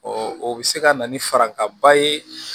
o bɛ se ka na ni farinkanba ye